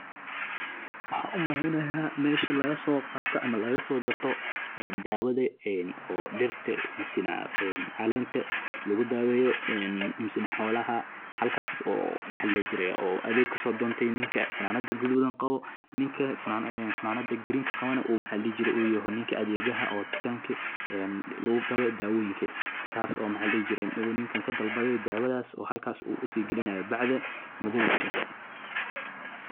Waa shirkad hormuud u ah bixinta adeegyada dalxiiska beeraha iyo la-talinta farsamada, gaar ahaan qaybaha beeraha iyo xoolaha. Dukaanka shirkaddu wuxuu si gaar ah ugu takhasusay iibinta qalabka beeraha ee casriga ah, bacriminta tayada leh, iyo agabka lagu xoojinayo wax-soo-saarka beeraha, iyadoo la adeegsanayo tiknoolajiyadda casriga ah.